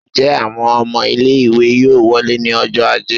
njẹ awọn ọmọ ile-iwe yọọ wolẹ́ ni ọjọ ajé?